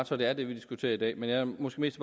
så at det er det vi diskuterer i dag men jeg er måske mest